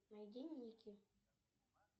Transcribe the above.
найди ники